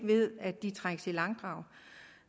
ved at de trækkes i langdrag